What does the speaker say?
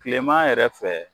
Tilema yɛrɛ fɛ